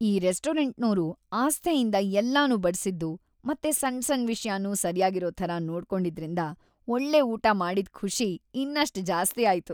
ಈ ರೆಸ್ಟೋರಂಟ್ನೋರು ಆಸ್ಥೆಯಿಂದ ಎಲ್ಲನೂ ಬಡ್ಸಿದ್ದು ಮತ್ತೆ ಸಣ್ ಸಣ್ ವಿಷ್ಯನೂ ಸರ್ಯಾಗಿರೋ ಥರ ನೋಡ್ಕೊಂಡಿದ್ರಿಂದ ಒಳ್ಳೆ ಊಟ ಮಾಡಿದ್‌ ಖುಷಿ ಇನ್ನಷ್ಟ್ ಜಾಸ್ತಿ ಆಯ್ತು.